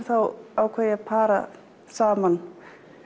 ákvað ég að para saman